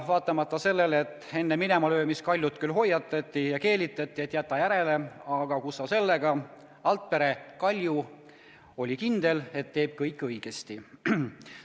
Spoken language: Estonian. Vaatamata sellele, et enne minemalöömist Altpere Kaljut küll hoiatati ja keelitati, et jäta järele, aga kus sa sellega, Kalju oli kindel, et teeb kõik õigesti.